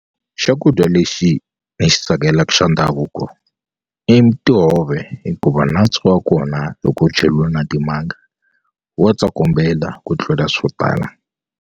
Xakudya lexi ni xi tsakelaka xa ndhavuko i ntihove hikuva nantswo wa kona loko wu cheliwe na timanga wa tsokombela ku tlula swo tala.